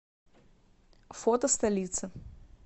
фото столица